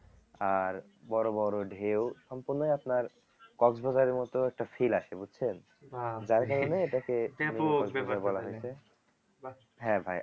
আর বড়ো বড়ো ঢেউ সম্পূর্ণই আপনার কক্স বাজারের মত একটা feel আসে বুঝছেন যার কারণে এটাকে হ্যাঁ ভাই